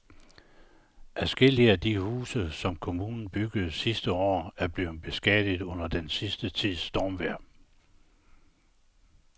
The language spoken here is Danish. Adskillige af de huse, som kommunen byggede sidste år, er blevet beskadiget under den sidste tids stormvejr.